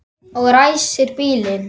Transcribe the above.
Og ræsir bílinn.